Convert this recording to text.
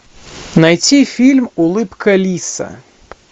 найти фильм улыбка лиса